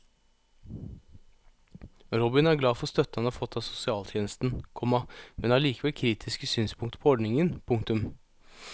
Robin er glad for støtten han har fått av sosialtjenesten, komma men har likevel kritiske synspunkter på ordningen. punktum